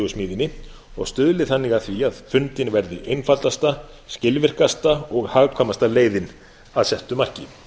tillögusmíðinni og stuðli þannig að því að fundin verði einfaldasta skilvirkasta og hagkvæmasta leiðin að settu marki